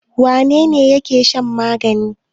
Wane ne yake shan magani?